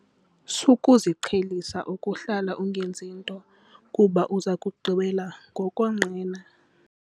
Sukuziqhelisa ukuhlala ungenzi nto kuba uza kugqibela ngokonqena.